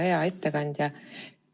Hea ettekandja!